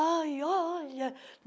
Ai, olha!